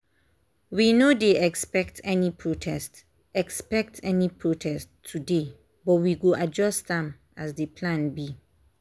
we no dey expect any protest expect any protest today but we go adjust am as the plan be